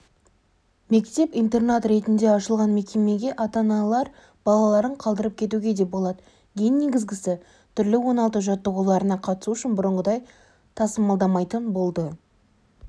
мектеп-интернат ретінде ашылған мекемеге ата-аналар балаларын қалдырып кетуге де болады ең негізгісі түрлі оңалту жаттығуларына қатысу үшін бұрынғыдай тасымалдамайтын болды